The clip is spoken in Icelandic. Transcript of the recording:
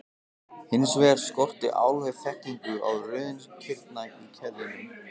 Hins vegar skorti alveg þekkingu á röðun kirna í keðjunum.